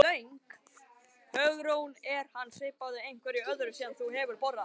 Hugrún: Er hann svipaður einhverju öðru sem þú hefur borðað?